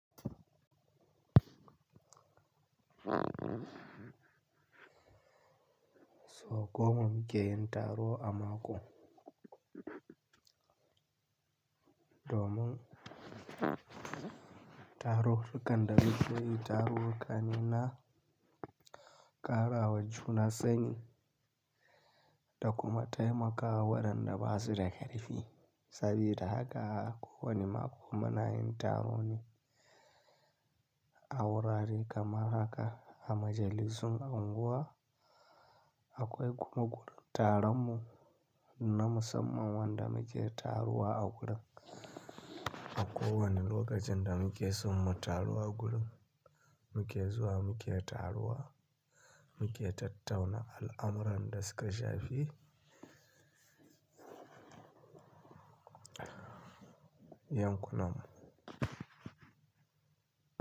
So goma munke yin taro a mako, domun taro kanda biyu, yi taro kanina karawa juna sani, da kuma taimakawa wadanda basuda karfi. Sabida haka ko wane mako muna yin tarone a wurare kamar haka a majalisun unguwa. Akwai kuma gurun tarammu na musamman wanda muke taruwa a gurin. A kowane lokacinda muke son mu taruwa gurun, muke zuwa muke taruwa muke tattauna al'amuran da suka shafi yankunammu.